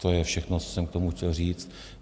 To je všechno, co jsem k tomu chtěl říct.